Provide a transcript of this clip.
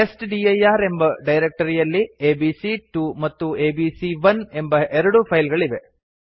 testdir ಎಂಬ ಡೈರಕ್ಟರಿಯಲ್ಲಿ ABC two ಮತ್ತು ಎಬಿಸಿ1 ಎಂಬ ಎರಡು ಫೈಲ್ ಗಳಿವೆ